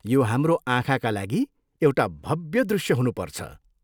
यो हाम्रो आँखाका लागि एउटा भव्य दृष्य हुनुपर्छ।